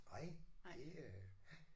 Nej det øh